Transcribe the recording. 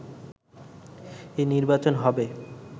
এই নির্বাচন হবে